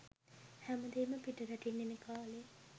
හැමදේම පිටරටින් එන කාලේ